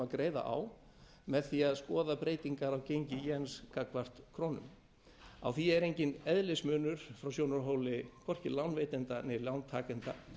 greiða á með því að skoða breytingar á gengi jens gagnvart krónunni á því er enginn eðlismunur frá sjónarhóli hvorki lánveitenda né lántakenda